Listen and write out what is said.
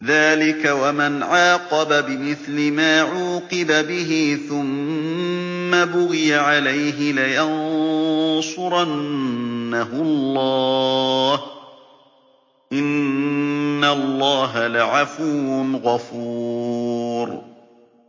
۞ ذَٰلِكَ وَمَنْ عَاقَبَ بِمِثْلِ مَا عُوقِبَ بِهِ ثُمَّ بُغِيَ عَلَيْهِ لَيَنصُرَنَّهُ اللَّهُ ۗ إِنَّ اللَّهَ لَعَفُوٌّ غَفُورٌ